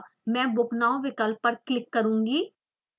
मैं book now विकल्प पर क्लिक करुँगी